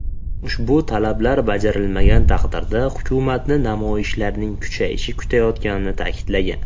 Ushbu talablar bajarilmagan taqdirda hukumatni namoyishlarning kuchayishi kutayotganini ta’kidlagan.